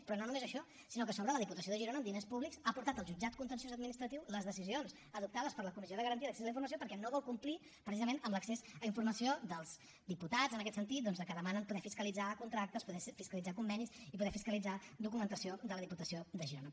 però no només això sinó que a sobre la diputació de girona amb diners públics ha portat al jutjat contenciós administratiu les decisions adoptades per la comissió de garantia d’accés a la informació perquè no vol complir precisament amb l’accés a informació dels diputats en aquest sentit que demanen de poder fiscalitzar contractes poder fiscalitzar convenis i poder fiscalitzar documentació de la diputació de girona